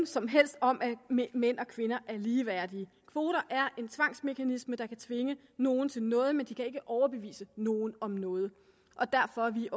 som helst om at mænd mænd og kvinder er ligeværdige kvoter er en tvangsmekanisme der kan tvinge nogen til noget men de kan ikke overbevise nogen om noget og derfor er vi